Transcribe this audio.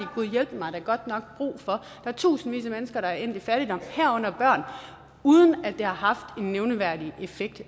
gudhjælpemig da godt nok brug for der er tusindvis af mennesker der er endt i fattigdom uden at det har haft en nævneværdig effekt